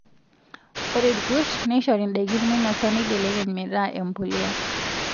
Ore irkurt neishori ndaikin meinosa neibelekeny metaa empuliya.